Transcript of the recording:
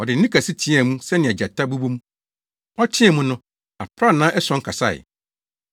Ɔde nne kɛse teɛɛ mu sɛnea gyata bobɔ mu. Ɔteɛɛ mu no, aprannaa ason kasae.